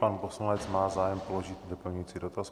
Pan poslanec má zájem položit doplňující dotaz.